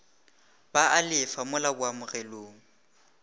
ba a lefa mola boamogelong